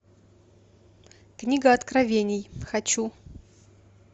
книга откровений хочу